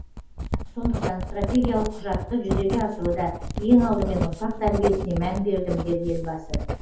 сондықтан стратегиялық құжатты жүзеге асыруда ең алдымен ұрпақ тәрбиесіне мән бердім деді елбасы